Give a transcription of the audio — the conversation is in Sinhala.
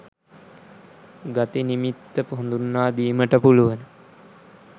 ගති නිමිත්ත හඳුන්වාදීමට පුළුවන.